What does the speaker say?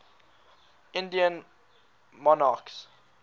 indian monarchs